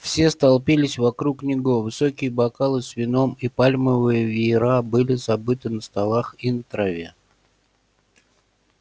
все столпились вокруг него высокие бокалы с вином и пальмовые веера были забыты на столах и на траве